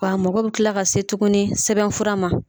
Wa mɔgɔ bɛ kila ka se tugunni sɛbɛn fura ma.